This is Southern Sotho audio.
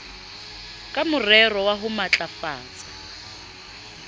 ka morero wa ho matlafatsa